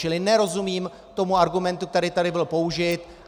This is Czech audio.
Čili nerozumím tomu argumentu, který tady byl použit.